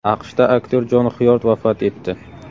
AQShda aktyor Jon Xyord vafot etdi.